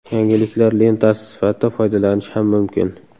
Yangiliklar lentasi sifatida foydalanish ham mumkin.